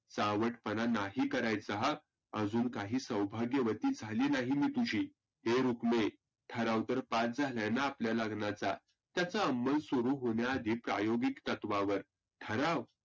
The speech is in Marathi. चावट पणा नाही करायचा हं. अजुन काही सौभाग्यवती झाली नाही मी तुझी. ए रुक्मे ठराव तर पास झाला ना आपल्या लग्नाचा. त्याचा अमलस्वरुप होण्या आधी प्रायोगिक तत्वावर. ठराव,